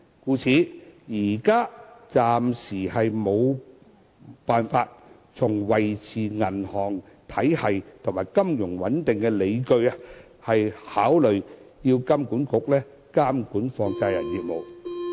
因此，現時無法基於維持銀行體系及金融穩定的理據來考慮由金管局監管放債人業務。